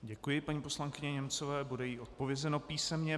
Děkuji paní poslankyni Němcové, bude jí odpovězeno písemně.